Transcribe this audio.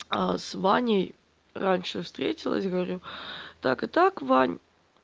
а с ваней раньше встретилась говорю так и так вань